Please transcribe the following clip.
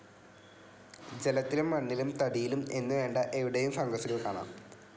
ജലത്തിലും മണ്ണിലും തടിയിലും എന്നുവേണ്ട എവിടെയും ഫംഗസുകൾ കാണാം.